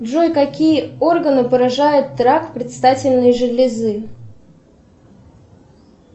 джой какие органы поражает рак предстательной железы